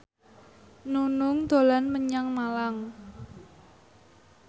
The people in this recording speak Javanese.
Nunung dolan menyang Malang